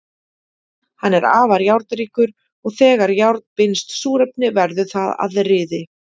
Hann er afar járnríkur og þegar járn binst súrefni verður það að ryði.